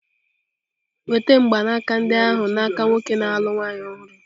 Nweta mgbanaka ndị ahụ n'aka nwoke na-alụ nwaanyị ọhụrụ!